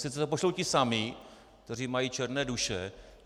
Sice to pošlou ti samí, kteří mají černé duše.